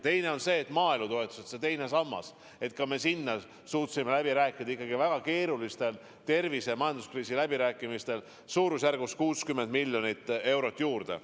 Teine pluss on see, et maaelutoetusteks – see on teine sammas – me suutsime ikka väga keerulistel tervise- ja majanduskriisi läbirääkimistel saada suurusjärgus 60 miljonit eurot juurde.